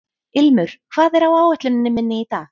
Ilmur, hvað er á áætluninni minni í dag?